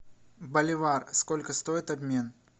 боливар сколько стоит обмен